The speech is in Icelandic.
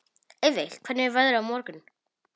Eyveig, hvernig er veðrið á morgun?